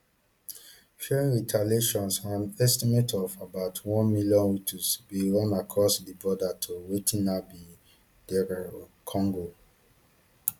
fearing retaliations an estimate of about one million hutus bin run across di border to wetin now be dr congo